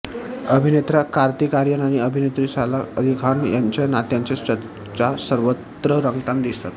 अभिनेता कार्तिक आर्यन आणि अभिनेत्री सारा अली खान यांच्या नात्याच्या चर्चा सर्वत्र रंगताना दिसतात